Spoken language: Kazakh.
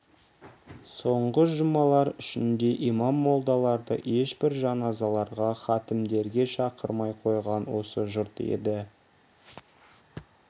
соңғы жұмалар ішінде имам молдаларды ешбір жаназаларға хатімдерге шақырмай қойған осы жұрт еді